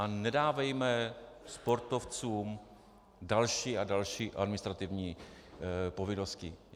A nedávejme sportovcům další a další administrativní povinnosti.